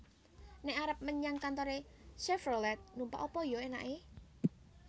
Nek arep menyang kantore Chevrolet numpak apa yo enake?